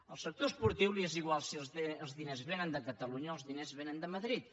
al sector esportiu li és igual si els diners vénen de catalunya o els diners vénen de madrid